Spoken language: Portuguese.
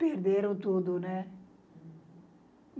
Perderam tudo, né?